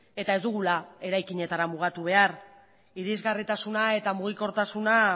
eta ez dugula eraikinetan mugatu behar irisgarritasuna eta mugikortasuna